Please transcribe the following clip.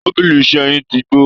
Tabili iṣẹ́ yín ti gbó